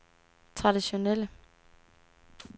traditionelle